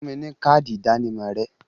Fún mi ní káádì ìdánimọ̀ rẹ!